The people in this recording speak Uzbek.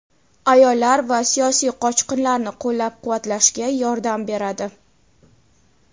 ayollar va siyosiy qochqinlarni qo‘llab-quvvatlashga yordam beradi.